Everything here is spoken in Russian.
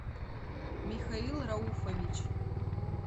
михаил рауфович